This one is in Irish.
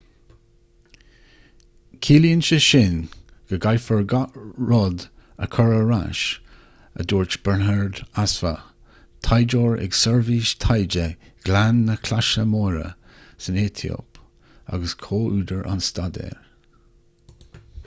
ciallaíonn sé sin go gcaithfear gach rud a chur ar ais a dúirt berhane asfaw taighdeoir ag seirbhís taighde ghleann na claise móire san aetóip agus comhúdar an staidéir